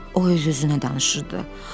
O öz-özünə danışırdı.